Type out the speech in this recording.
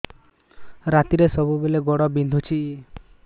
ରାତିରେ ସବୁବେଳେ ଗୋଡ ବିନ୍ଧୁଛି